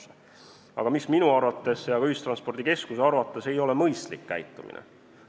See aga ei ole minu arvates ega ka ühistranspordikeskuse arvates mõistlik käitumine.